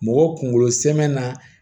Mɔgɔ kunkolo sɛmɛ na